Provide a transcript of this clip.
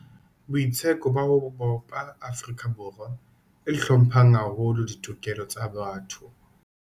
Boitseko ba ho bopa Afrika Borwa e hlomphang haholo ditokelo tsa botho.